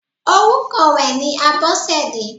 Orúkọ rẹ̀ ni Abọ́sẹ̀dé.